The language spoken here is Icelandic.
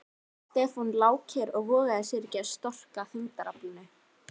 Stefán lá kyrr og vogaði sér ekki að storka þyngdaraflinu.